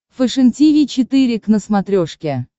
фэшен тиви четыре к на смотрешке